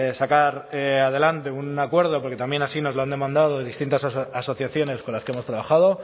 sacar adelante un acuerdo porque también así nos lo han demandado distintas asociaciones con las que hemos trabajado